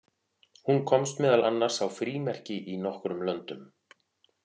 Hún komst meðal annars á frímerki í nokkrum löndum.